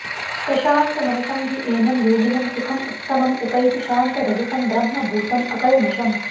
प्रशान्तमनसं हि एनं योगिनं सुखम् उत्तमम् उपैति शान्तरजसं ब्रह्मभूतम् अकल्मषम्